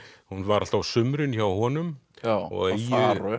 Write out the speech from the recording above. hún var alltaf á sumrin hjá honum á eyju